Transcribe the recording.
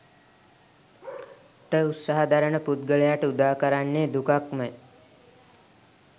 ට උත්සාහ දරන පුද්ගලයාට උදාකරන්නේ දුකක්මය.